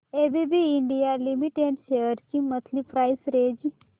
ABB India Limited shares ची monthly price range